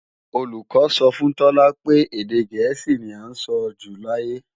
Olùkọ́ sọ fún Tọ́lá pé èdè gẹ̀ẹ́sì ní à ń sọjù láyé